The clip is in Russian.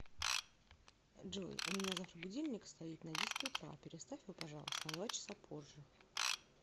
джой у меня завтра будильник стоит на десять утра переставь его пожалуйста на два часа позже